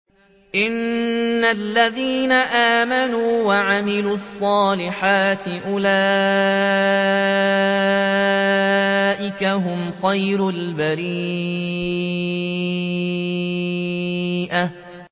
إِنَّ الَّذِينَ آمَنُوا وَعَمِلُوا الصَّالِحَاتِ أُولَٰئِكَ هُمْ خَيْرُ الْبَرِيَّةِ